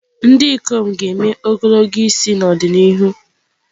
Ndị ikom ga-eme ogologo isi n'ọdịnihu.